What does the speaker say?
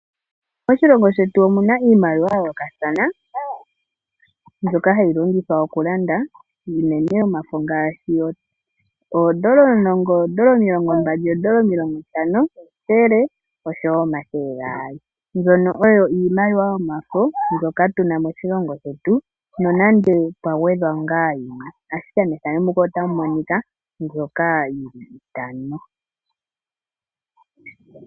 Moshilongo shetu omuna iimaliwa ya yoolokathana mbyoka hayi longithwa oku landa uunene omafo ngaashi oondola omulongo, oondola omilongo, omilongo ntano, ethele nomathele gaali mbyono oyo iimaliwa yomafo mbyoka tuna moshilongo shetu nonande pwagwedhwa yimwe ashike mpaka opuna iitano.